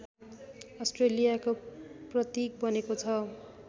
अस्ट्रेलियाको प्रतीक बनेको छ